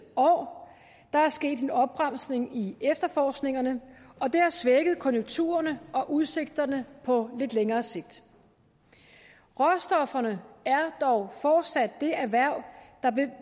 år der er sket en opbremsning i efterforskningerne og det har svækket konjunkturerne og udsigterne på lidt længere sigt råstofferne er dog fortsat det erhverv